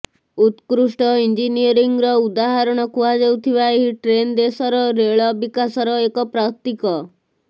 ଉତ୍କୃଷ୍ଟ ଇଞ୍ଜିନିୟରିଂର ଉଦାହରଣ କୁହାଯାଉଥିବା ଏହି ଟ୍ରେନ୍ ଦେଶର ରେଳ ବିକାଶର ଏକ ପ୍ରତୀକ